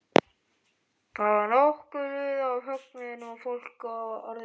Þá var nokkuð liðið á fögnuðinn og fólk orðið drukkið.